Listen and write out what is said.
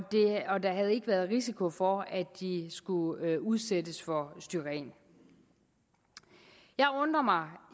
der havde ikke været risiko for at de skulle udsættes for styren jeg undrer mig